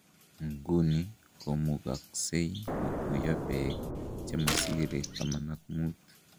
Inkuni komukoksek kotuyo peek chemosire 15.